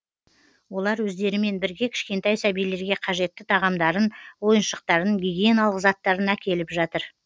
олар өздерімен бірге кішкентай сәбилерге қажетті тағамдарын ойыншықтарын гигиеналық заттарын әкеліп жатыр